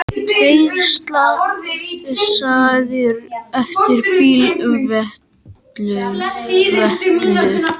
Tveir slasaðir eftir bílveltu